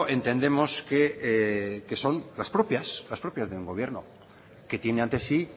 entendemos que son las propias de un gobierno que tiene ante sí